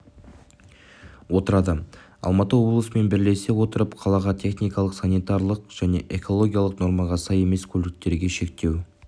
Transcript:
отырады алматы облысымен бірлесе отырып қалаға техникалық санитарлық және экологиялық нормаға сай емес көліктерге шектеу